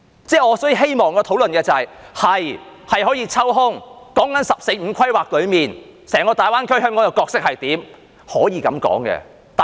所以，我希望討論的是，我們的確可以抽空，說"十四五"規劃中，在整個大灣區，香港的角色是怎樣。